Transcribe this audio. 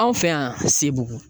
Anw fɛ yan sebugu